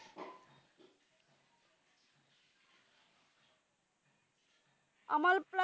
আমরও তার